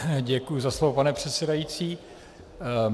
Děkuji za slovo, pane předsedající.